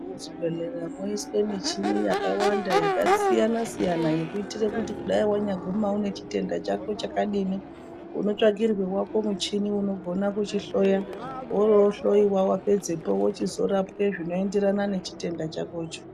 Muzvibhendleya mwoswa michini yakawanda yakasiyana siyana yekuitira kuti kudai wanyaguma une chitenda chako chakadini. Unotsvagirwa wako muchini unokona kuchihloya. Woroohloiwa wapedzapo wochizorapwa zvinoenderana nechitenda chakocho.